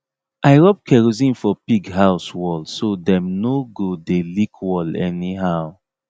i rub kerosene for pig house wall so dem no go dey lick wall anyhow